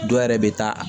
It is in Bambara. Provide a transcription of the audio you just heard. Dɔw yɛrɛ bɛ taa